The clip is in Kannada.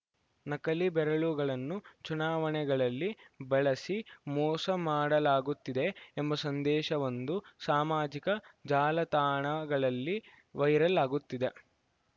ನಕಲಿ ಬೆರಳುಗಳನ್ನು ಚುನಾವಣೆಗಳಲ್ಲಿ ಬಳಸಿ ಮೋಸ ಮಾಡಲಾಗುತ್ತಿದೆ ಎಂಬ ಸಂದೇಶವೊಂದು ಸಾಮಾಜಿಕ ಜಾಲತಾಣಗಳಲ್ಲಿ ವೈರಲ್‌ ಆಗುತ್ತಿದೆ